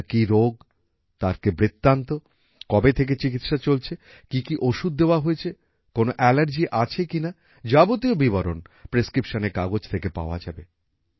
আপনার কি রোগ তার কি বৃত্তান্ত কবে থেকে চিকিৎসা চলছে কি কি ওষুধ দেওয়া হয়েছে কোনো অ্যালারজি আছে কিনা যাবতীয় বিবরণ prescriptionএর কাগজ থেকে পাওয়া যাবে